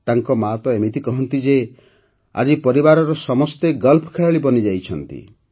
ତାଙ୍କ ମାତ ଏମିତି କହନ୍ତି ଯେ ଆଜି ପରିବାରର ସମସ୍ତେ ଗଲ୍ଫ ଖେଳାଳୀ ବନିଯାଇଛନ୍ତି